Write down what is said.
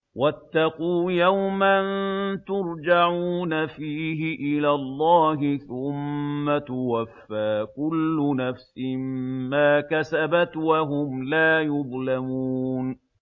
وَاتَّقُوا يَوْمًا تُرْجَعُونَ فِيهِ إِلَى اللَّهِ ۖ ثُمَّ تُوَفَّىٰ كُلُّ نَفْسٍ مَّا كَسَبَتْ وَهُمْ لَا يُظْلَمُونَ